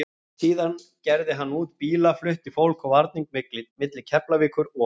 Síðar gerði hann út bíla, flutti fólk og varning milli Keflavíkur og